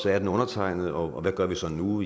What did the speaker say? er den undertegnet og hvad gør vi så nu